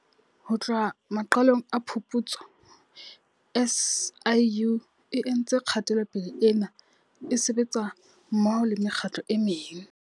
Ho tloha maqalong a phuputso, SIU e entse kgatelopele ena e sebetsa mmoho le mekgatlo e meng.